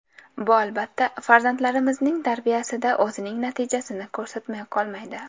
Bu albatta, farzandlarimizning tarbiyasida o‘zining natijasini ko‘rsatmay qolmaydi.